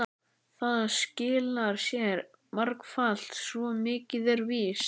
Það skilar sér margfalt, svo mikið er víst.